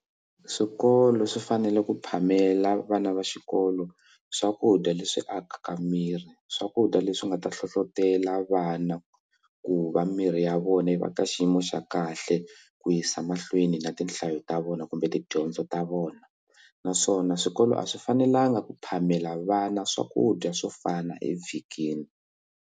Swikolo swi fanele ku phamela vana va xikolo swakudya leswi akaka miri swakudya leswi nga ta hlohlotelo vana ku va miri ya vona yi va ka xi xiyimo xa kahle ku yisa mahlweni na tinhlayo ta vona kumbe tidyondzo ta vona naswona swikolo a swi fanelanga ku phamela vana swakudya swo fana evhikini.